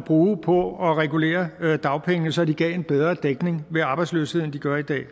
bruge på at regulere dagpengene så de gav en bedre dækning ved arbejdsløshed end de gør i dag